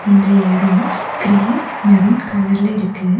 இந்த எடொம் cream maroon கலர்ல இருக்கு.